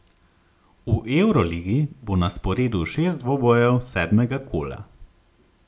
V evroligi bo na sporedu šest dvobojev sedmega kola.